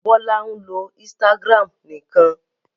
Bọ́lá ń lo Instagram nìkan.